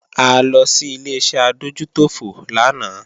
A lọ sí Ileṣẹ́ adójútòfò lánàá